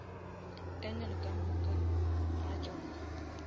angle ka moka ga tšona